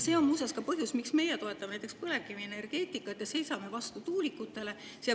See on muuseas ka põhjus, miks meie toetame põlevkivienergeetikat ja seisame vastu tuulikutele.